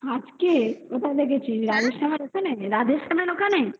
আজকে? কোথায় দেখেছিস রাজেশ খানের ওখানে রাজেশ খানের ওখানে